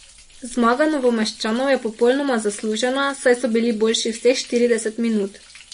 Zmaga Novomeščanov je popolnoma zaslužena, saj so bili boljši vseh štirideset minut.